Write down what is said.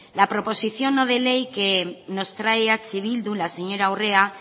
la proposición no de ley que nos trae eh bildu la señora urrea